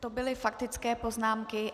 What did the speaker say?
To byly faktické poznámky.